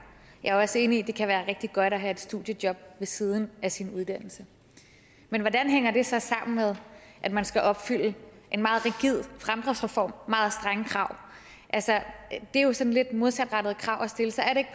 jeg er også enig i at det kan være rigtig godt at have et studiejob ved siden af sin uddannelse men hvordan hænger det så sammen med at man skal opfylde en meget rigid fremdriftsreform og meget strenge krav det er jo sådan lidt modsatrettede krav at stille så er det